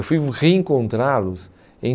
Eu fui reencontrá-los em